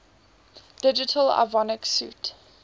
digital avionics suite